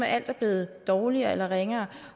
at alt er blevet dårligere eller ringere